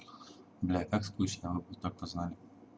блядь так скучно вы так-то знали